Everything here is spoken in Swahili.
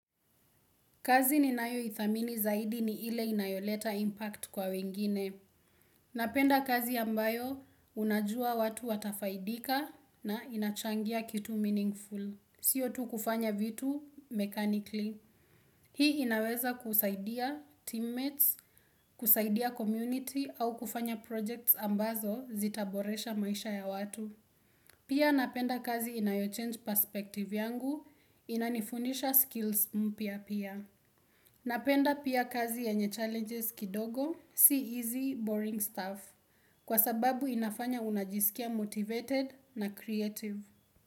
Kazi ninayoithamini zaidi ni ile inayoleta impact kwa wengine. Napenda kazi ambayo unajua watu watafaidika na inachangia kitu meaningful. Sio tu kufanya vitu mechanically. Hii inaweza kusaidia teammates, kusaidia community au kufanya projects ambazo zitaboresha maisha ya watu. Pia napenda kazi inayochange perspective yangu, inanifundisha skills mpya pia. Napenda pia kazi yenye challenges kidogo, si easy, boring stuff, kwa sababu inafanya unajisikia motivated na creative.